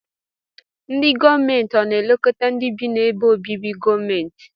Ndi gọọmenti ọna elekọta ndi bi na ebe obibi gọọmenti?